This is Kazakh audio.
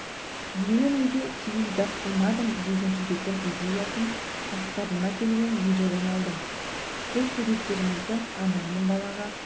мені неге теледидар қылмадың деген суреттің идеясын ватсабыма келген видеодан алдым көп суреттеріңізді ана мен балаға